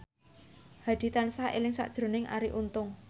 Hadi tansah eling sakjroning Arie Untung